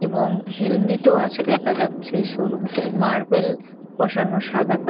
এবং হেলমেট ও আছে দেখা যাচ্ছে । শোরুম -টি মার্বেল বসানো সাদা কা--